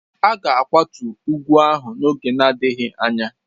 A ga-akwatu ugwu ahụ n'oge na-adịghị anya.